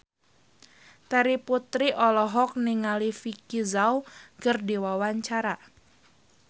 Terry Putri olohok ningali Vicki Zao keur diwawancara